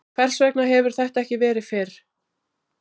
Hvers vegna hefur þetta ekki verið fyrr?